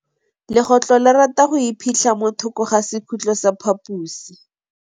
Legôtlô le rata go iphitlha mo thokô ga sekhutlo sa phaposi.